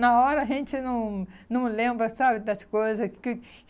Na hora a gente não não lembra, sabe, das coisas que.